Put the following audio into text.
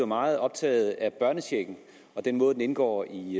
meget optaget af børnechecken og af den måde den indgår i